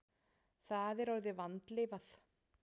Það er orðið vandlifað.